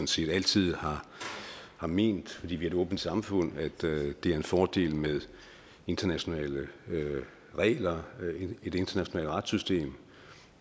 set altid har har ment fordi vi er et åbent samfund at det er en fordel med internationale regler et internationalt retssystem